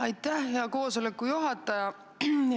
Aitäh, hea koosoleku juhataja!